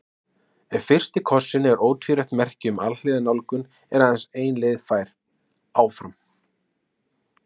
Ef fyrsti kossinn er ótvírætt merki um alhliða nálgun er aðeins ein leið fær: Áfram.